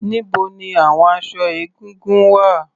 Níbo ni àwon aṣọ egúngún wà?